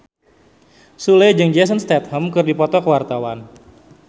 Sule jeung Jason Statham keur dipoto ku wartawan